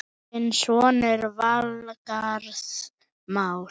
Þinn sonur, Valgarð Már.